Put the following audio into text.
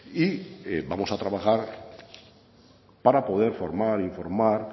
y vamos a trabajar para poder formar e informar